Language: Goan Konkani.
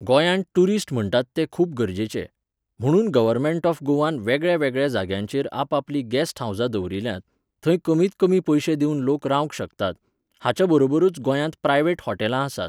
गोंयांत टुरिस्ट म्हणटात ते खूब गरजेचे. म्हुणून गव्हर्मेंट ऑफ गोवान वेगळ्यावेगळ्या जाग्यांचेर आपापलीं गॅस्ट हावजां दवरिल्यांत, थंय कमींत कमी पयशे दिवन लोक रावंक शकतात, हाच्या बरोबरूच गोंयांत प्रायव्हेट हॉटेलां आसात.